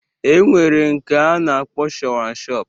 E nwere nke a na-akpọ shawanshọp